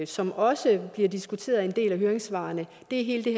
som også bliver diskuteret i en del af høringssvarene det er hele det